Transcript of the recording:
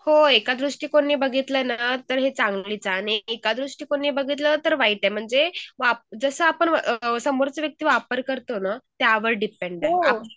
होय एका दृष्टिकोनाने बघितलंना तर है चांगलीच है आणि एका दृष्टिकोनने बघितलं तर वाईट आहे म्हणजे जसं आपण अ समोरची व्यक्ती वापर कर तो ना त्या वर डिपेन्ड आहै